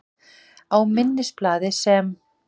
Á minnisblaði, sem